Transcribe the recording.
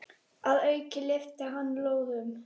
Að auki lyftir hann lóðum.